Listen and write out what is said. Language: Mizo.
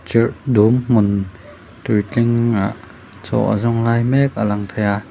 chirh dum hmun tui tlingah chaw a zawng lai mek a lang thei a.